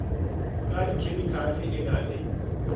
ka dikhemikhale e na le